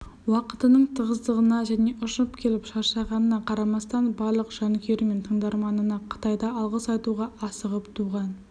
уақытының тығыздығына және ұшып келіп шаршағанына қарамастан барлық жанкүйері мен тыңдарманына қытайда алғыс айтуға асығып туған